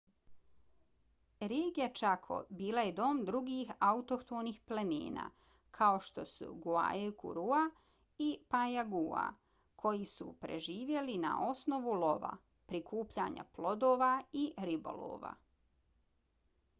regija chaco bila je dom drugih autohtonih plemena kao što su guaycurúa i payaguá koji su preživljavali na osnovu lova prikupljanja plodova i ribolova